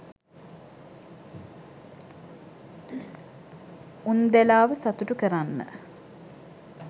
උන්දැලාව සතුටු කරන්න